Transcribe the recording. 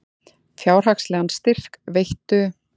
Fjárhagslegan styrk veittu